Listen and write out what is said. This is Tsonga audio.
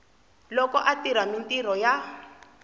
loko a tirha mintirho ya